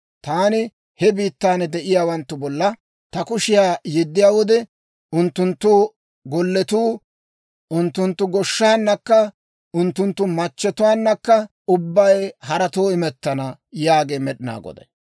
Taani he biittan de'iyaawanttu bolla ta kushiyaa yeddiyaa wode, unttunttu golletuu, unttunttu goshshaanakka unttunttu machchetuwaanakka ubbay haratoo imettana» yaagee Med'inaa Goday.